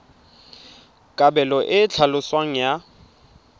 kabelo e e tlhaloswang ya